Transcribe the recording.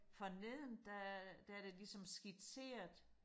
forneden der er der er der ligesom skitseret